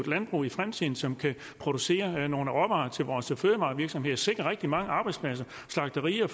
landbrug i fremtiden som kan producere nogle råvarer til vores fødevarevirksomheder sikre rigtig mange arbejdspladser slagterier